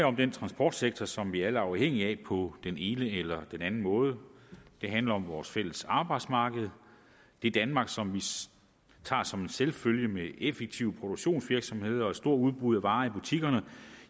om den transportsektor som vi alle er afhængige af på den ene eller den anden måde det handler om vores fælles arbejdsmarked det danmark som vi tager som en selvfølge med effektive produktionsvirksomheder og store udbud af varer i butikkerne